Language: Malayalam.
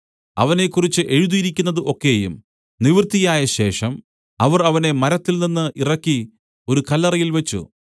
അവനെക്കുറിച്ച് എഴുതിയിരിക്കുന്നത് ഒക്കെയും നിവർത്തിയായശേഷം അവർ അവനെ മരത്തിൽനിന്ന് ഇറക്കി ഒരു കല്ലറയിൽ വെച്ച്